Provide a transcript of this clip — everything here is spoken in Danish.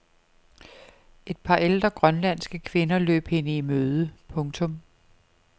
Et par ældre grønlandske kvinder løb hende i møde. punktum